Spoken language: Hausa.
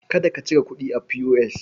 Kada ka cire kuɗi a P.O.S.